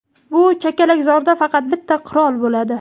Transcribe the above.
"Bu chakalakzorda faqat bitta qirol bo‘ladi".